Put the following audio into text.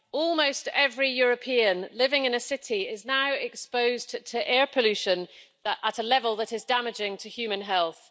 Almost every European living in a city is now exposed to air pollution at a level that is damaging to human health.